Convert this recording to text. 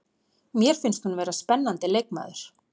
Mér finnst hún vera spennandi leikmaður.